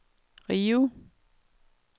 Rio